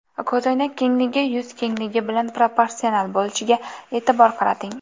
Ko‘zoynak kengligi yuz kengligi bilan proporsional bo‘lishiga e’tibor qarating.